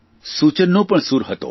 સૂચનનો પણ સૂર હતો